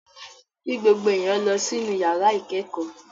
Kí gbogbo èèyàn lọ sí inú yàrá ìkẹ́kọ̀ọ́!